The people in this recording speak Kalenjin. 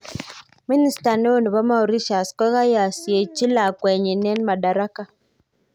minister ne o nepo Mauritius koyasiechi lakwenyi en madaraka